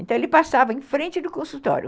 Então, ele passava em frente do consultório.